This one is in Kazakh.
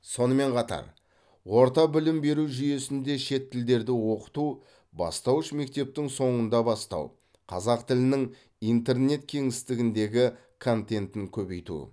сонымен қатар орта білім беру жүйесінде шет тілдерді оқыту бастауыш мектептің соңында бастау қазақ тілінің интернет кеңістігіндегі контентін көбейту